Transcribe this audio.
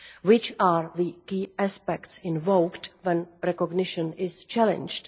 What are the key aspects invoked when recognition is challenged?